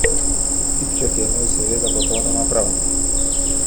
Tipček je imel seveda popolnoma prav.